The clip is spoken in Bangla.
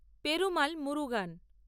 তিরুমাল মুরুগান